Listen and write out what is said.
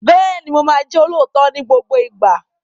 Bẹ́ẹ̀ni, Mo ma jẹ́ olóòótọ́ ni gbogbo ìgbà